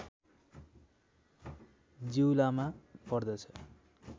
जीउलामा पर्दछ